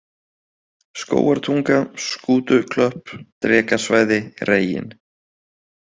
Skógartunga, Skútuklöpp, Drekasvæði, Reginn